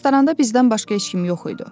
Restoranda bizdən başqa heç kim yox idi.